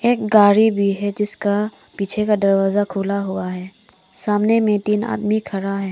एक गाड़ी भी है जिसका पीछे का दरवाजा खुला हुआ है सामने में तीन आदमी खड़ा है।